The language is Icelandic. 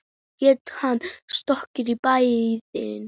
Getur hún skroppið í bæinn?